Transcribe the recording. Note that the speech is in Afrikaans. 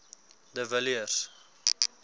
de villiers